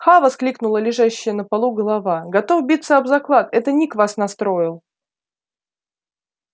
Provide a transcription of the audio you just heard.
ха воскликнула лежащая на полу голова готов биться об заклад это ник вас настроил